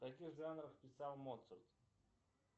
в каких жанрах писал моцарт